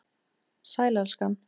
Sæl, elskan.